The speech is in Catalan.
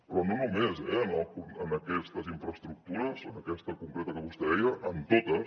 però no només eh en aquestes infraestructures en aquesta concreta que vostè deia en totes